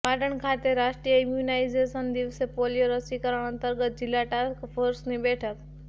પાટણ ખાતે રાષ્ટ્રીય ઈમ્યુનાઈઝેશન દિવસે પોલીયો રસીકરણ અંતર્ગત જિલ્લા ટાસ્કફોર્સની બેઠક